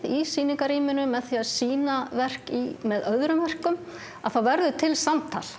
í sýningarrýminu og með því að sýna verk með öðrum verkum að þá verður til samtal